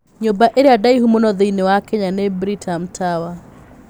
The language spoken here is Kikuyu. Nyũmba ĩrĩa ndaihu mũno thĩinĩ wa Kenya nĩ Britam Tower.